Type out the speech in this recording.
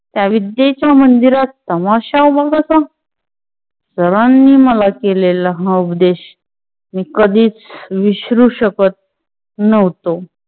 त्या विद्येच्या मंदिरात तमाशा उभा कसा? सर नी मला केलेला हा उपदेश मी कधीच विसरू शकत नव्हतो.